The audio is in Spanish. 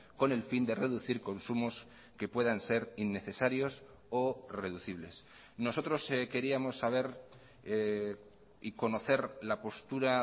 con el fin de reducir consumos que puedan ser innecesarios o reducibles nosotros queríamos saber y conocer la postura